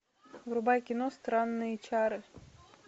врубай кино странные чары